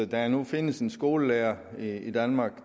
der nu findes en skolelærer i danmark